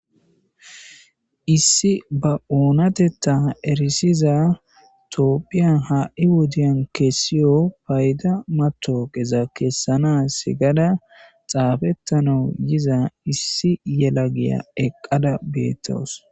Issi ba oonatetta erisiza toophiya haa7i wodiyan keessiyo payda matooqeza keessana sigada xaafettanau yiza issi yela giya eqqada beettowos.